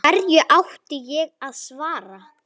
Hverju átti ég að svara?